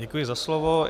Děkuji za slovo.